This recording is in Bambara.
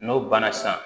N'o banna sisan